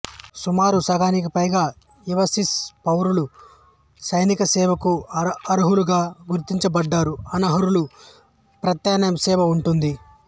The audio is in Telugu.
సుమారు సగానికి పైగా యువ స్విస్ పౌరులు సైనిక సేవకు అర్హులుగా గుర్తింపబడుతారు అనర్హులకు ప్రత్యామ్నాయ సేవ ఉంటుంది